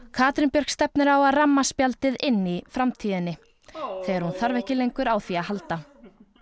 Katrín Björk stefnir á að ramma spjaldið inn í framtíðinni þegar hún þarf ekki lengur á því að halda